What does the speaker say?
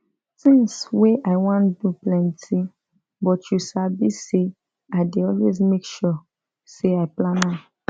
things wey i wan do plenty but you sabi say i dey always make sure say i plan am